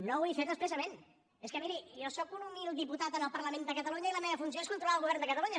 no ho he fet expressament és que miri jo sóc un humil diputat en el parlament de catalunya i la meva funció és controlar el govern de catalunya